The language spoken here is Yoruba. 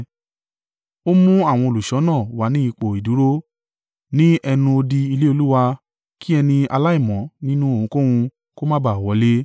Ó mú àwọn olùṣọ́nà wà ni ipò ìdúró ní ẹnu odi ilé Olúwa kí ẹni aláìmọ́ nínú ohunkóhun kó má ba à wọlé.